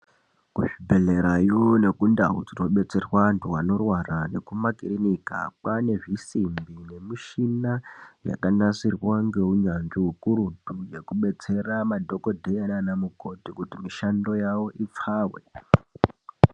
Kuzvibhehlerayo nekundau dzinobetserwa antu anorwara nekumakirinika kwaane zvisimbi nemichina yakanasirwa ngeunyanzvi hukurutu yekubetsera madhokodhera naana mukoti kuti mishando yawo ipfawe.